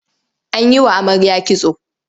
An yi wa amarya kitso.